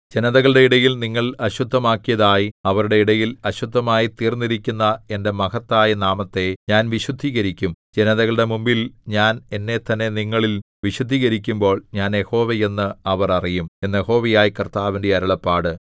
ജനതകളുടെ ഇടയിൽ നിങ്ങൾ അശുദ്ധമാക്കിയതായി അവരുടെ ഇടയിൽ അശുദ്ധമായിത്തീർന്നിരിക്കുന്ന എന്റെ മഹത്തായ നാമത്തെ ഞാൻ വിശുദ്ധീകരിക്കും ജനതകളുടെ മുൻപിൽ ഞാൻ എന്നെത്തന്നെ നിങ്ങളിൽ വിശുദ്ധീകരിക്കുമ്പോൾ ഞാൻ യഹോവ എന്ന് അവർ അറിയും എന്ന് യഹോവയായ കർത്താവിന്റെ അരുളപ്പാട്